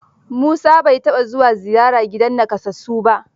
Musa bai taɓa zuwa ziyara gidan nakasassu ba.